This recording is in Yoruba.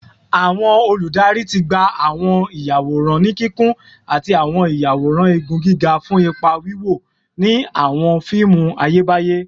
Awọn oludari ti gba awọn iyaworan ni kikun ati awọn iyaworan igun giga fun ipa wiwo ni awọn fiimu Ayebaye